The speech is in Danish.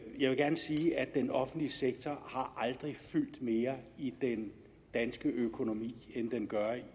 jeg vil gerne sige at den offentlige sektor aldrig har fyldt mere i den danske økonomi end den gør